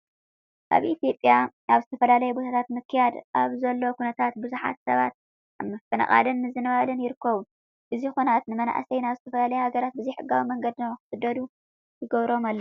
ኣብ ኢትዮጵያ ኣብ ዝተፈላለዩ ቦታታት ምክያድ ኣብ ዘሎ ኵናት ብዙሓት ሰባት ኣብ ምፍንቃልን ምምዝባልን ይርከቡ። እዚ ኹናት ንመናእሰይ ናብ ዝተፈላለዩ ሃገራት ብዘይሕጋዊ መንገዲ ንክስደዱ ይገብሮም ኣሎ።